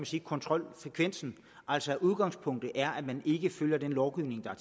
sige kontrolfrekvensen altså udgangspunktet er at man ikke følger den lovgivning der